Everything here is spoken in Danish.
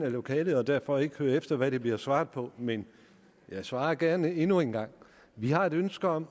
af lokalet og derfor ikke hører efter hvad der bliver svaret på men jeg svarer gerne endnu en gang vi har et ønske om